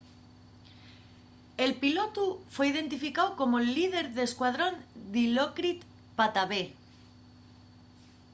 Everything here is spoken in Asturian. el pilotu fue identificáu como’l líder d'escuadrón dilokrit pattavee